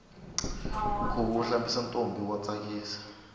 khuvo wo hlamisa ntombi wa tsakisa